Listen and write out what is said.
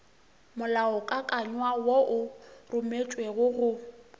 molaokakanywa wo o rometšwego go